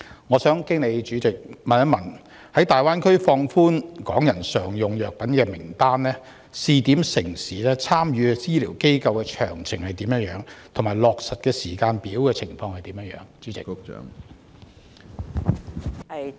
我想經主席問局長，在大灣區放寬香港人使用常用藥品的名單、試點城市、參與的醫療機構詳情和落實時間表為何？